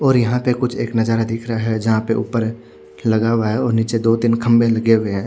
और यहाँ पे कुछ एक नजारा दिख रहा हिया जहा पे ऊपर लगा हुआ है और निचे दो तीन खम्बे लगे हुए है।